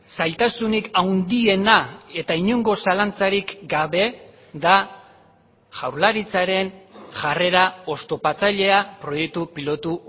zailtasunik handiena eta inongo zalantzarik gabe da jaurlaritzaren jarrera oztopatzailea proiektu pilotu